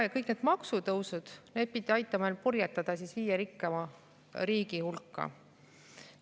Ja kõik need maksutõusud pidid aitama purjetada viie rikkaima riigi hulka.